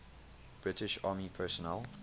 british army personnel